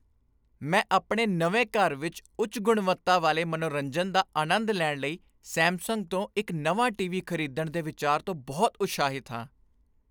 ਮੈਂ ਆਪਣੇ ਨਵੇਂ ਘਰ ਵਿੱਚ ਉੱਚ ਗੁਣਵੱਤਾ ਵਾਲੇ ਮਨੋਰੰਜਨ ਦਾ ਆਨੰਦ ਲੈਣ ਲਈ ਸੈਮਸੰਗ ਤੋਂ ਇੱਕ ਨਵਾਂ ਟੀਵੀ ਖ਼ਰੀਦਣ ਦੇ ਵਿਚਾਰ ਤੋਂ ਬਹੁਤ ਉਤਸ਼ਾਹਿਤ ਹਾਂ।